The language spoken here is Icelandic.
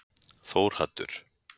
Þórhaddur